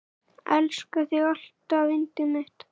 Elska þig alltaf yndið mitt.